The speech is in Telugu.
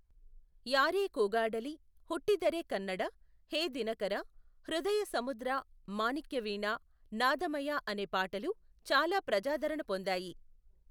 యారే కూగాడలి, హుట్టిదరె కన్నడ, హే దినకర, హృదయ సముద్ర , మాణిక్యవీణా, నాదమయ అనే పాటలు చాలా ప్రజాదరణ పొందాయి.